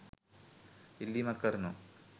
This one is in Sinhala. ඉල්ලීමක් කරනවා